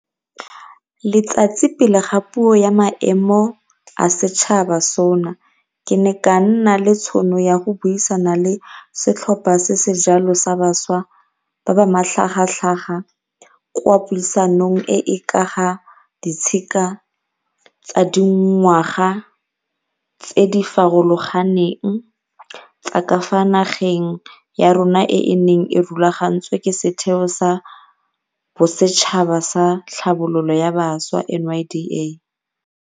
Letsatsi pele ga Puo ya Maemo a Setšhaba, SoNA ke ne ka nna le tšhono ya go buisana le setlhopha se se jalo sa bašwa ba ba matlhagatlhaga kwa puisanong e e ka ga ditshika tsa dingwaga tse di farologaneng tsa ka fa nageng ya rona e e neng e rulagantswe ke Setheo sa Bosetšhaba sa Tlhabololo ya Bašwa, NYDA.